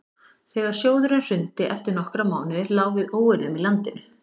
þegar sjóðurinn hrundi eftir nokkra mánuði lá við óeirðum í landinu